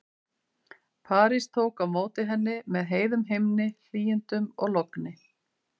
París tók á móti henni með heiðum himni, hlýindum og logni.